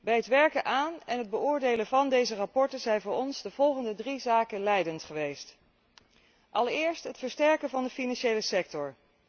Bij het werken aan en het beoordelen van deze verslagen zijn voor ons de volgende drie zaken leidend geweest allereerst het versterken van de financiële sector.